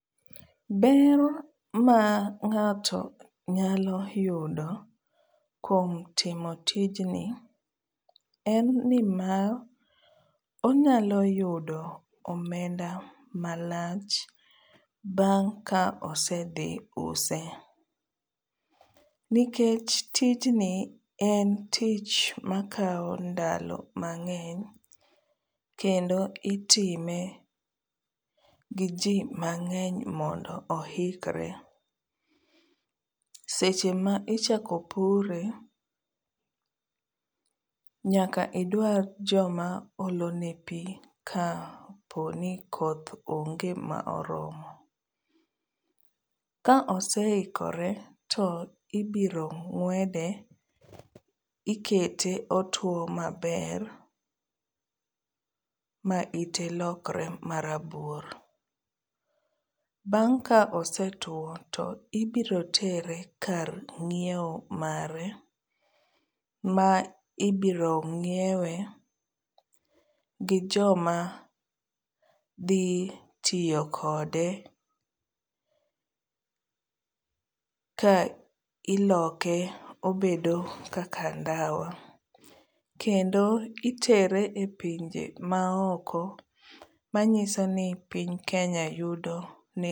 Ber ma ng'ato nyalo yudo kuom timo tijni en ni mar onyalo yudo omenda malach bang' ka osedhi use. Nikech tijni en tich makawo ndalo mang'eny kendo itime gi jii mang'eny mondo oikre. Seche ma ichako pure nyaka idwar joma olone pii kaponi koth onge ma oromo . Ka oseikore to ibiro ng'wede ikete otuo maber ma ite lokre marabuor. Bang' ka osetuo to ibiro tere kar nyiewo mare ma ibiro nyiewe gi jok ma dhi tiyo kode ka iloke obedo kaka ndawa kendo kitere e pinje maoko manyiso ni piny Kenya yudo ne